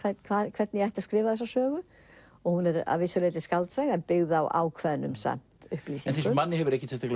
hvernig ég ætti að skrifa þessa sögu hún er að vissu leyti skáldsaga en byggð á ákveðnum samt upplýsingum þessum manni hefur ekkert